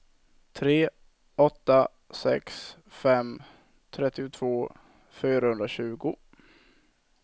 tre åtta sex fem trettiotvå fyrahundratjugo